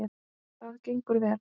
Það gengur vel.